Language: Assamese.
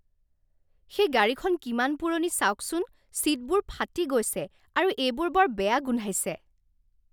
সেই গাড়ীখন কিমান পুৰণি চাওকচোন। ছীটবোৰ ফাটি গৈছে আৰু এইবোৰ বৰ বেয়া গোন্ধাইছে।